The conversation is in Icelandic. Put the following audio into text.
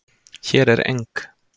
Hér er eng